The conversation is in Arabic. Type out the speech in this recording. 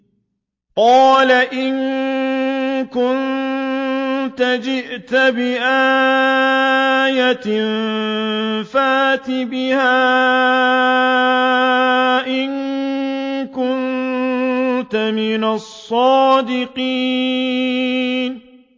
قَالَ إِن كُنتَ جِئْتَ بِآيَةٍ فَأْتِ بِهَا إِن كُنتَ مِنَ الصَّادِقِينَ